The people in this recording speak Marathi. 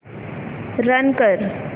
रन कर